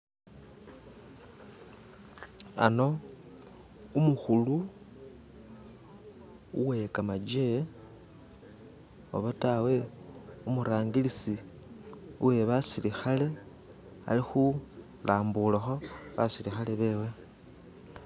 Hano umukhulu uwekhamaje oba tawe umurangilisi uwebasilikhale alikhu lambulakho basilikhale bewe